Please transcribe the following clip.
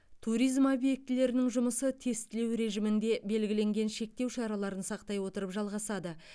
туризм объектілерінің жұмысы тестілеу режимінде белгіленген шектеу шараларын сақтай отырып жалғасады